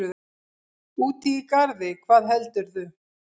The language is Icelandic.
Úti í garði, hvað heldurðu!